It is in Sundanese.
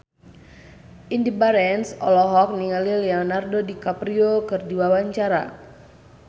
Indy Barens olohok ningali Leonardo DiCaprio keur diwawancara